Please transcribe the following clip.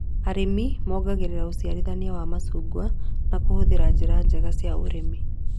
Arĩmi mongagĩrĩra ũciarithania wa macungwa na kũhũthĩra njĩra njega cia ũrĩmi